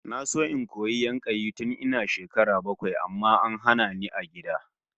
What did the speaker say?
Na so in koyi yankayi tun ina shekara bakwai amma an hana ni a gida